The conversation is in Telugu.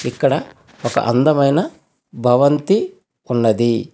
ఇక్కడ ఒక అందమైన భవంతి ఉన్నది.